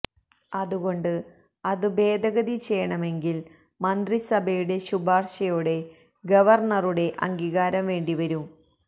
അതുകൊണ്ട് അത് ഭേദഗതി ചെയ്യണമെങ്കില് മന്ത്രിസഭയുടെ ശുപാര്ശയോടെ ഗവര്ണറുടെ അംഗീകാരം വേണ്ടിവരും